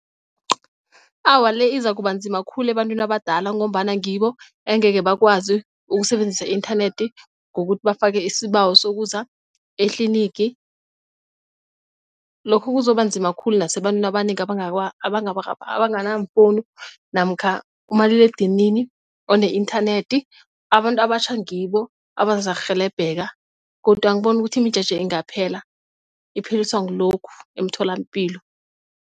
Awa, le izakubanzima khulu ebantwini abadala ngombana ngibo angekhe bakwazi ukusebenzisa i-inthanethi ngokuthi bafake isibawo sokuza etlinigi. Lokhu kuzobanzima khulu nasebantwini abanengi abangana mfowuni namkha umaliledinini one-inthanethi. Abantu abatjha ngibo abazarhelebheka godu angiboni ukuthi imijeje ingaphela ipheliswa ngilokhu emitholampilo.